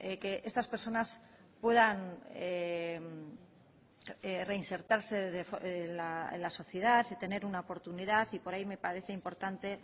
que estas personas puedan reinsertarse en la sociedad y tener una oportunidad y por ahí me parece importante